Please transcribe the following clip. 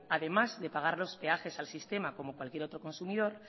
además de pagar los peajes al sistema como cualquier otro consumidor